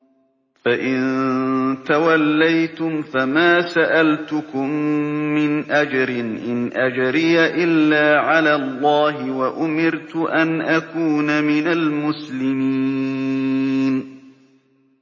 فَإِن تَوَلَّيْتُمْ فَمَا سَأَلْتُكُم مِّنْ أَجْرٍ ۖ إِنْ أَجْرِيَ إِلَّا عَلَى اللَّهِ ۖ وَأُمِرْتُ أَنْ أَكُونَ مِنَ الْمُسْلِمِينَ